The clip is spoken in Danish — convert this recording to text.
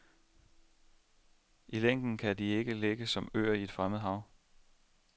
I længden kan de ikke ligge som øer i et fremmed hav.